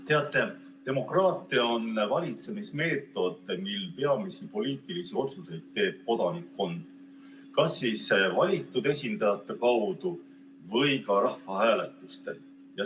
Teate, demokraatia on valitsemismeetod, mille puhul peamisi poliitilisi otsuseid teeb kodanikkond kas valitud esindajate kaudu või rahvahääletustel.